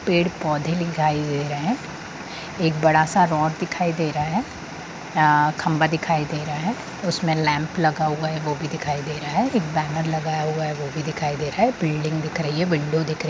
पेड़-पौधे दिखाई दे रहे हैं। एक बड़ा सा रॉड दिखाई दे रहा है। आ-- खम्बा देखई दे रहा है उसमे लैंप लगा हुआ है वो भी दिखाई दे रहा है। एक बैनर लगाया हुआ है वो भी दिखाई दे रहा है बिल्डिंग दिख रही है विंडो दिख रही--